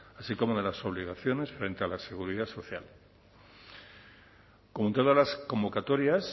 así como de las obligaciones frente a la seguridad social como todas las convocatorias